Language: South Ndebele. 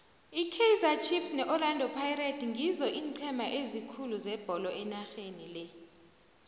ikaizer chiefs ne orlando pirates ngizoeenceme ezikhulu zebolo enarheni le